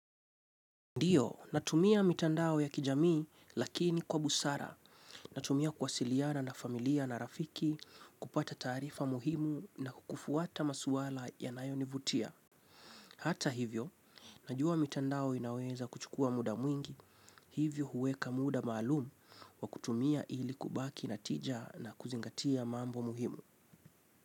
Ndiyo, natumia mitandao ya kijamii lakini kwa busara, natumia kuwasiliana na familia na rafiki kupata taarifa muhimu na kufuata maswala yanayonivutia. Hata hivyo, najua mitandao inaweza kuchukua muda mwingi, hivyo huweka muda malum wa kutumia ili kubaki natija na kuzingatia mambo muhimu.